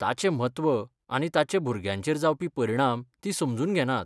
ताचें म्हत्व आनी ताचे भुरग्यांचेर जावपी परिणाम तीं समजून घेनात.